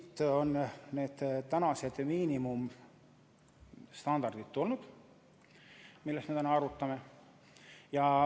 Ja siit on tulnud need praegused miinimumstandardid, mida me täna arutame.